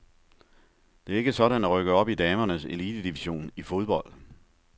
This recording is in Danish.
Det er ikke sådan at rykke op i damernes elitedivision i fodbold.